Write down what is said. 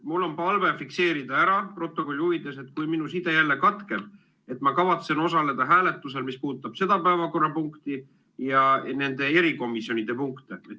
Mul on palve fikseerida protokolli huvides ära – kui minu side peaks jälle katkema –, et ma kavatsen osaleda hääletusel, mis puudutab seda päevakorrapunkti ja nende erikomisjonide punkte.